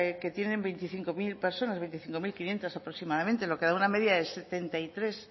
que tienen veinticinco mil personas veinticinco mil quinientos aproximadamente lo que da una media de setenta y tres